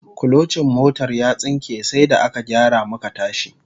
Kulocin motar ya tsinke sai da aka gyara muka tashi